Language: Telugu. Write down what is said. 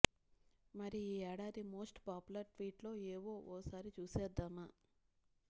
మరి ఈ ఏడాది మోస్ట్ పాపులర్ ట్వీట్లు ఏవో ఓసారి చూసేద్దామా